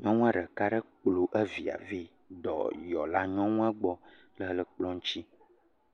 Nyɔnua ɖeka aɖe kplɔ via ve dɔyɔla nyɔnua gbɔ le ekplɔ eŋuti.